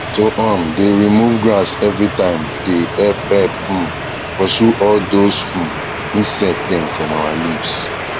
to um dae remove grass everytime dae help help um pursue all these um insects dem from our leaves